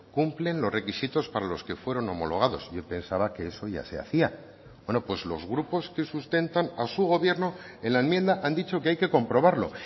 cumplen los requisitos para los que fueron homologados y pensará que eso ya se hacía bueno pues los grupos que sustentan a su gobierno en la enmienda han dicho que hay que comprobarlo